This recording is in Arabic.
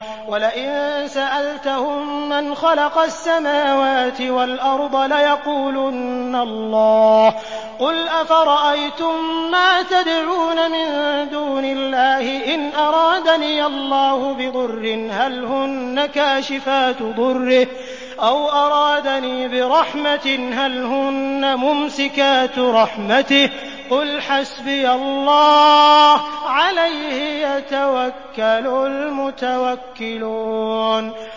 وَلَئِن سَأَلْتَهُم مَّنْ خَلَقَ السَّمَاوَاتِ وَالْأَرْضَ لَيَقُولُنَّ اللَّهُ ۚ قُلْ أَفَرَأَيْتُم مَّا تَدْعُونَ مِن دُونِ اللَّهِ إِنْ أَرَادَنِيَ اللَّهُ بِضُرٍّ هَلْ هُنَّ كَاشِفَاتُ ضُرِّهِ أَوْ أَرَادَنِي بِرَحْمَةٍ هَلْ هُنَّ مُمْسِكَاتُ رَحْمَتِهِ ۚ قُلْ حَسْبِيَ اللَّهُ ۖ عَلَيْهِ يَتَوَكَّلُ الْمُتَوَكِّلُونَ